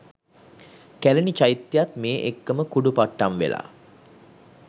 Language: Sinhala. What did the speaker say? කැලණි චෛත්‍යයත් මේ එක්කම කුඩුපට්ටම්වෙලා